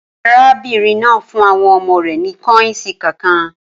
Arábìnrin náà fún àwọn ọmọ rẹ̀ ní kọ́yìǹsì kànkàn